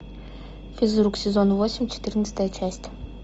физрук сезон восемь четырнадцатая часть